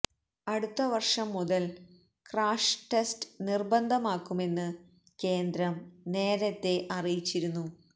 അടുത്ത വര്ഷം മുതല് ക്രാഷ് ടെസ്റ്റ് നിര്ബന്ധമാക്കുമെന്ന് കേന്ദ്രം നേരത്തെ അറിയിച്ചിരുന്നു